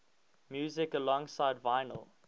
music alongside vinyl